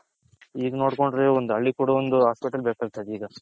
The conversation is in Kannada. ಇಗ್ ನೋಡ್ಕೊಂಡ್ರೆ ಒಂದ್ ಹಳ್ಳಿ ಕೂಡ ಒಂದು hospital ಬೇಕಾಗ್ತದೆ ಈಗ